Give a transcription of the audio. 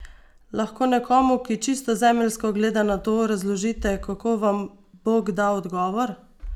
Lahko nekomu, ki čisto zemeljsko gleda na to, razložite, kako vam Bog da odgovor?